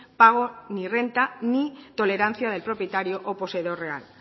pago ni renta ni tolerancia del propietario o poseedor real